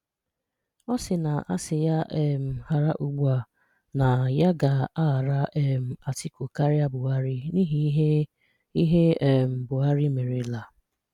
Ọ sị́ na asị́ yà um hàrà ùgbùà na yà ga-àhàrà um Atiku kárìà Buhari n’ihi íhè íhè um Buhari mérelà.